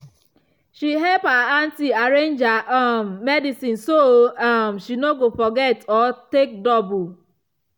she help her aunty arrange her um medicine so um she no go forget or take double.